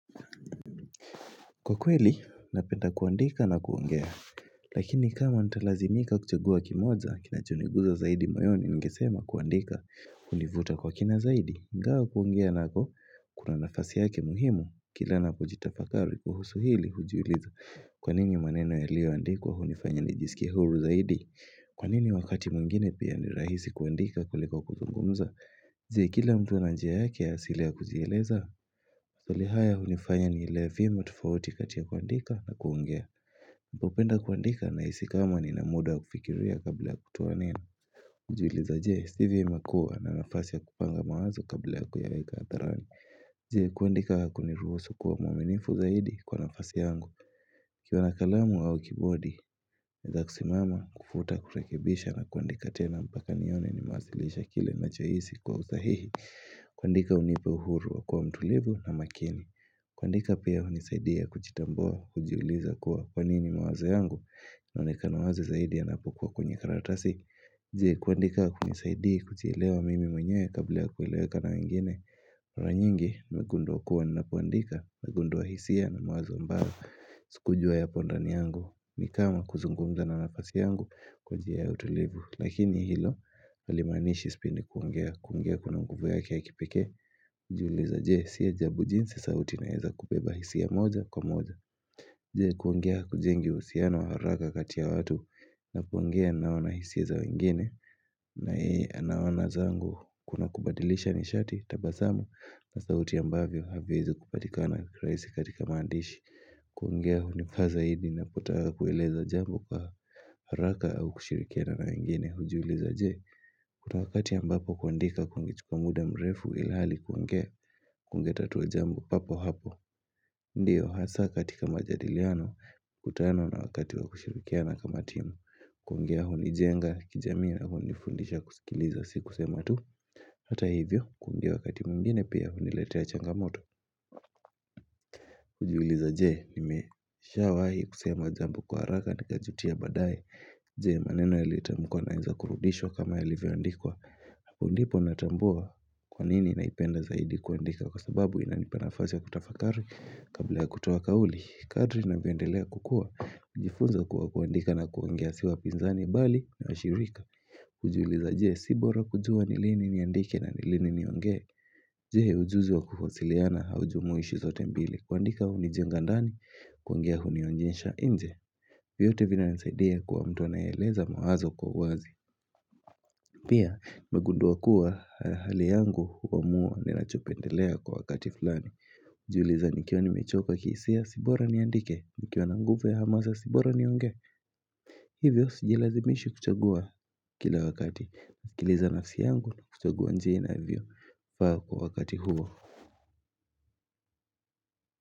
Kwa kweli, napenda kuandika na kuongea. Lakini kama nitalazimika kuchagua kimoja, kinachoniguza zaidi moyoni ningesema kuandika. Hunivuta kwa kina zaidi, ingawa kuongea nako, kuna nafasi yake muhimu. Kila napojitafakari kuhusu hili hujiuliza. Kwa nini maneno yaliyoandikwa hunifanya nijisikie huru zaidi? Kwa nini wakati mwingine pia ni rahisi kuandika kuliko kuzungumza? Je, kila mtu ana njia yake ya asili ya kujieleza? Swali haya hunifanya nielewe vyema tofauti kati ya kuandika na kuongea. Napopenda kuandika nahisi kama nina muda wa kufikiria kabla ya kutoa neno. Hujiuliza je, si vyema kuwa na nafasi ya kupanga mawazo kabla ya kuyaweka hadharani? Je, kuandika hakuniruhusu kuwa mwaminifu zaidi kwa nafasi yangu? Nikiwa na kalamu au kibodi naweza kusimama, kufuta, kurekebisha na kuandika tena mpaka nione nimewasilisha kile nachohisi kwa usahihi kuandika hunipa uhuru wa kuwa mtulivu na makini kuandika pia hunisaidia kujitambua, kujiuliza kuwa kwa nini mawazo yangu yanaonekana wazi zaidi yanapokuwa kwenye karatasi? Je, kuandika hakunisaidii kujielewa mimi mwenyewe kabla ya kueleweka na wengine? Mara nyingi, nimegundua kuwa ninapoandika, nimegundua hisia na mawazo ambayo sikujua yapo ndani yangu, ni kama kuzungumza na nafasi yangu kwa njia ya utulivu. Lakini hilo, halimaanishi sipendi kuongea. Kuongea kuna nguvu yake ya kipekee Hujiuliza je, si ajabu jinsi sauti inaweza kubeba hisia moja kwa moja? Je, kuongea hakujengi uhusiano haraka kati ya watu? Na kuongea ninaona hisia za wengine na yeye anaona zangu. Kuna kubadilisha nishati, tabasamu na sauti ambavyo haviwezi kupatikana rahisi katika maandishi. Kuongea hunifaa zaidi ninapotaka kueleza jambo kwa haraka au kushirikiana na wengine. Hujiuliza je, kuna wakati ambapo kuandika kungechukua muda mrefu ilhali kuongea, kungetatua jambo papo hapo Ndio, hasa katika majadiliano mkutano na wakati wa kushirikiana kama timu kuongea hunijenga, kijamii halafu hunifundisha kusikiliza si kusema tu. Hata hivyo, kuongea wakati mwingine pia huniletea changamoto. Kujiuliza je, nimeshawahi kusema jambo kwa haraka nikajutia baadaye? Je maneno yaliyotamkwa yanaweza kurudishwa kama yalivyoandikwa? Hapo ndipo natambua kwa nini naipenda zaidi kuandika kwa sababu inanipa nafasi ya kutafakari kabla ya kutoa kauli. Kadri navyondelea kukua. Najifunza kuwa kuandika na kuongea si wapinzani bali ni washirika. Kujiuliza je, si bora kujua ni lini niandike na ni lini niongee? Je, ujuzi wa kuwasiliana haujumuishi zote mbili? Kuandika hunijenga ndani, kuongea hunionyesha nje. Vyote vinanisaidia kuwa mtu anayeeleza mawazo kwa uwazi. Pia, nimegundua kuwa hali yangu huamua ninachopendelea kwa wakati. Fulani. Hujiuliza nikiwa nimechoka kihisia si bora niandike? Nikiwa na nguvu ya hamasa si bora niongee? Hivyo sijilazimishi kuchagua kila wakati. Nasikiliza nafsi yangu, kuchagua njia inavyofaa kwa wakati huo.